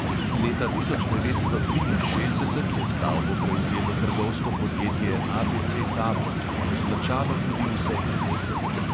Leta tisoč devetsto triinšestdeset je stavbo prevzelo trgovsko podjetje ABC tabor in odplačalo tudi vse kredite.